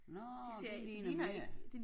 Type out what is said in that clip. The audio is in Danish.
Nåh det ligner mere